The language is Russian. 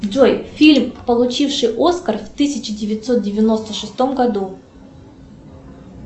джой фильм получивший оскар в тысяча девятьсот девяносто шестом году